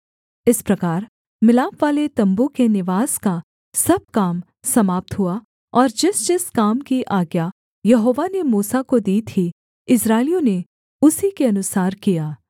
इस प्रकार मिलापवाले तम्बू के निवास का सब काम समाप्त हुआ और जिसजिस काम की आज्ञा यहोवा ने मूसा को दी थी इस्राएलियों ने उसी के अनुसार किया